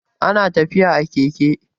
ana tafiya a Keke